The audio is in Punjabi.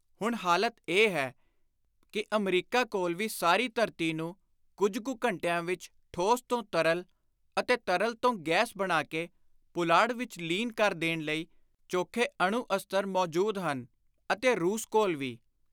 ਹੁਣ ਹਾਲਤ ਇਹ ਹੈ ਕਿ ਅਮਰੀਕਾ ਕੋਲ ਵੀ ਸਾਰੀ ਧਰਤੀ ਨੂੰ ਕੁਝ ਕੁ ਘੰਟਿਆਂ ਵਿਚ ਠੋਸ ਤੋਂ ਤਰਲ ਅਤੇ ਤਰਲ ਤੋਂ ਗੈਸ ਬਣਾ ਕੇ ਪੁਲਾੜ ਵਿਚ ਲੀਨ ਕਰ ਦੇਣ ਲਈ ਚੋਖੇ ਅਣੂ-ਅਸਤਰ ਮੌਜੂਦ ਹਨ ਅਤੇ ਰੁਸ ਕੋਲ ਵੀ।